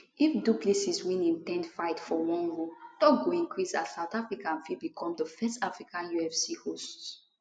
if du plessis win im 10th fight for one row tok go increase as south africa fit become di first african ufc hosts